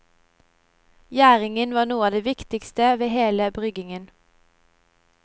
Gjæringen var noe av det viktigste ved hele bryggingen.